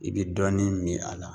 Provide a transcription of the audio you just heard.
I be dɔɔnin min a la